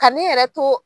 Ka ne yɛrɛ to